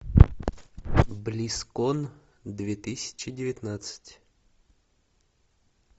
близкон две тысячи девятнадцать